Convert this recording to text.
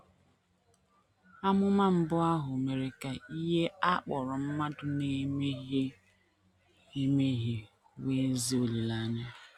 Amụma mbụ ahụ mere ka ihe a kpọrọ mmadụ na - emehie emehie nwee ezi olileanya.